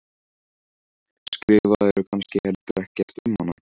Skrifaðirðu kannski heldur ekkert um hana?